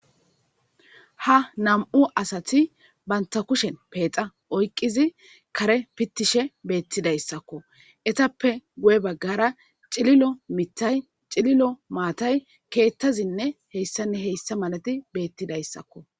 Ha nam'u asati banta kushen peexa oyqizi kare pittishe beettidayssakko etappe guye baggara ciilomitay cililo maatay keettazinne heyssanni heyssa malati beettidayssakko.